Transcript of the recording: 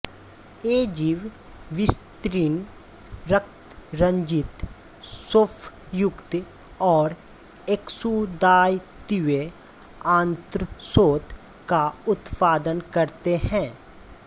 ये जीव विस्तीर्ण रक्तरंजित शोफयुक्त और एक्सुदातिवे आंत्रशोथ का उत्पादन करते हैं